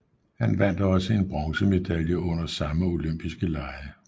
Han vandt også en bronzemedalje under samme OL